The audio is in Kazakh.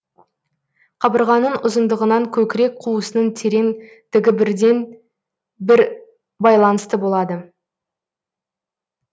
қабырғаның ұзындығынан көкірек қуысының терең дігібірден бір байланысты болады